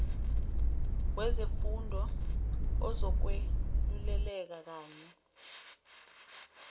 wezefundo ozokweluleleka kanye